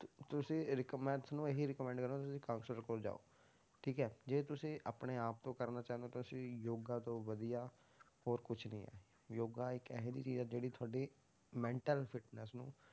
ਤੁਸੀਂ ਰਿਕਮੈਂ~ ਤੁਹਾਨੂੰ ਇਹੀ recommend ਕਰਾਂਗਾ ਕਿ ਤੁਸੀਂ counselor ਕੋਲ ਜਾਓ, ਠੀਕ ਹੈ ਜੇ ਤੁਸੀਂ ਆਪਣੇ ਆਪ ਤੋਂ ਕਰਨਾ ਚਾਹੁੰਦੇ ਹੋ ਤਾਂ ਤੁਸੀਂ ਯੋਗਾ ਤੋਂ ਵਧੀਆ ਹੋਰ ਕੁਛ ਨੀ ਹੈ, ਯੋਗਾ ਇੱਕ ਇਹ ਜਿਹੀ ਚੀਜ਼ ਹੈ ਜਿਹੜੀ ਤੁਹਾਡੀ mental fitness ਨੂੰ,